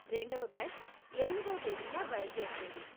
రెండవ బ్యాచ్ ఎనిమిదో తేదీన బయలుదేరుతుంది.